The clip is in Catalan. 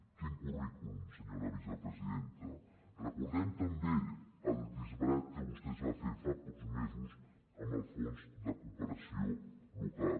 quin currículum senyora vicepresidenta recordem també el disbarat que vostè va fer fa pocs mesos amb el fons de cooperació local